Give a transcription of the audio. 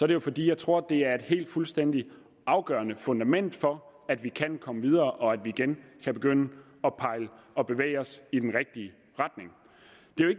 det jo fordi jeg tror at det er et helt fuldstændig afgørende fundament for at vi kan komme videre og at vi igen kan begynde at bevæge os i den rigtige retning